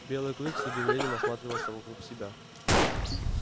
белый клык с удивлением осматривался вокруг себя